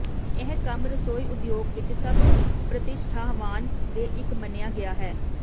ਇਹ ਕੰਮ ਰਸੋਈ ਉਦਯੋਗ ਵਿੱਚ ਸਭ ਪ੍ਰਤਿਸ਼ਠਾਵਾਨ ਦੇ ਇੱਕ ਮੰਨਿਆ ਗਿਆ ਹੈ